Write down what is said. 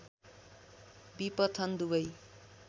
विपथन दुबै